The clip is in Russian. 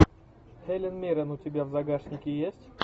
хелен миррен у тебя в загашнике есть